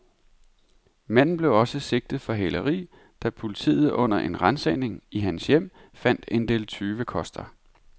Manden blev også sigtet for hæleri, da politiet under en ransagning i hans hjem fandt en del tyvekoster.